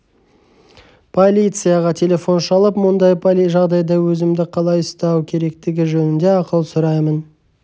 полицияға телефон шалып мұндай жағдайда өзімді қалай ұстау керектігі жөнінде ақыл сұраймын